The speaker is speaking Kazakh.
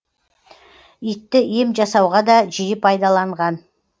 итті ем жасауға да жиі пайдаланған